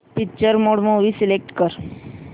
picture mode movie select कर